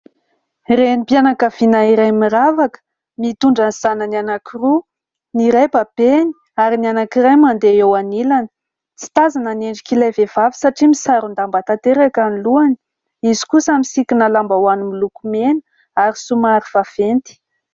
Renim-pianakaviana iray miravaka mitondra ny zanany anankiroa. Ny iray babeny ary ny anankiray mandeha eo anilany. Tsy tazana ny endrik'ilay vehivavy satria misaron-damba tanteraka ny lohany ; izy kosa misikina lambahoany miloko mena ary somary vaventy.